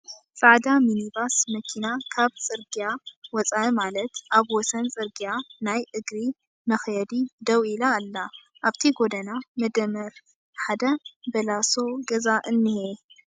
ፃዕዳ ሚኒባስ መኪና ካብ ፅርግያ ወፃእ ማለት ኣብ ወሰን ፅርግያ ናይ እግሪ መኽየዲ ደው ኢላ ኣለ ኣብቲ ጎድና መደመር ሓደ በላሶ ገዛ እንሄ ።